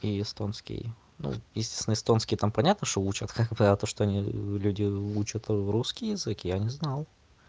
и эстонский ну естественно эстонский там понятно что учат хе-хе а то что они люди учат русский язык я не знал